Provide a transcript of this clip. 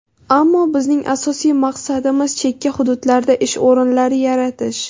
Ammo bizning asosiy maqsadimiz chekka hududlarda ish o‘rinlari yaratish.